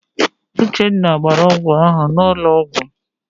Uchenna gbara ọgwụ ahụ n'ụlọ ọgwụ.